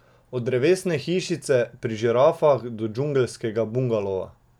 Od drevesne hišice pri žirafah do džungelskega bungalova.